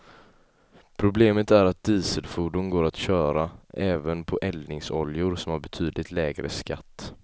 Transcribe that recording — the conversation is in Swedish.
Problemet är att dieselfordon går att köra även på eldningsoljor som har betydligt lägre skatt.